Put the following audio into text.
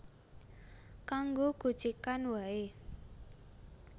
Kanggo gojegan wae